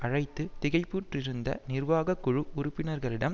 அழைத்து திகைப்புற்றிருந்த நிர்வாக குழு உறுப்பினர்களிடம்